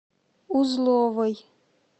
узловой